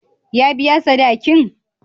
Ya biya sadaki'n?